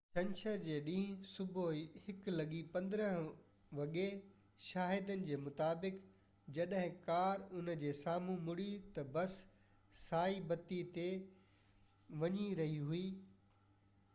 ڇنڇر جي ڏينهن صبح 1:15 وڳي شاهدن جي مطابق جڏهن ڪار ان جي سامهون مڙي ته بس سائي بتي تي وڃي رهي هئي